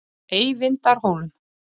Eyvindarhólum